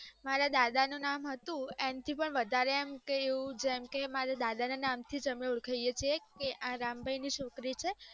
મારા દાદા નું નામ હતું એનથી પણ વધારે એમ કે જેમ મારા દાદા ના નમ થીજ અમે ઓળખાય છીએ કે અ રામ ભાઈ ની ચોરી છે